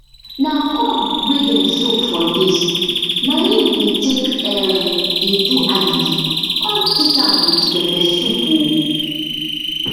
na corn wey dem soak for days na im dey take um dey do agidi con eat am with pepper soup um